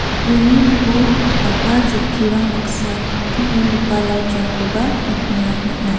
uni ning·o bang·a chokkirang baksa teng·enggipa light-rangkoba nikna man·a.